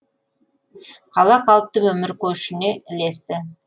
қала қалыпты өмір көшіне ілесті